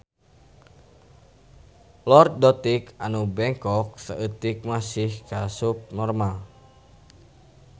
Lordotik anu bengkok seutik masih kaasup normal